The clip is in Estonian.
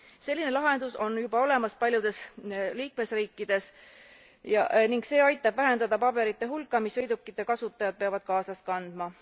Selline lahendus on juba olemas paljudes liikmesriikides ning see aitab vähendada paberite hulka, mis sõidukite kasutajad peavad kaasas kandma.